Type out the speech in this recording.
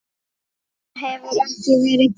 Þetta hefur ekki verið gert.